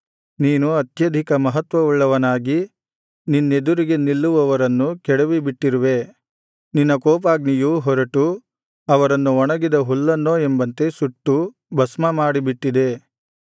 ನೀನು ಅತ್ಯಧಿಕ ಮಹತ್ವವುಳ್ಳವನಾಗಿ ನಿನ್ನೆದುರಿಗೆ ನಿಲ್ಲುವವರನ್ನು ಕೆಡವಿಬಿಟ್ಟಿರುವೆ ನಿನ್ನ ಕೋಪಾಗ್ನಿಯು ಹೊರಟು ಅವರನ್ನು ಒಣಗಿದ ಹುಲ್ಲನ್ನೋ ಎಂಬಂತೆ ಸುಟ್ಟು ಭಸ್ಮಮಾಡಿ ಬಿಟ್ಟಿದೆ